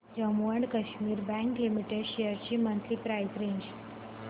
Jammu and Kashmir bank limited shares ची monthly price range